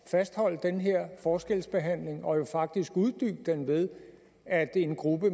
fastholde den her forskelsbehandling og jo faktisk uddybe den ved at en gruppe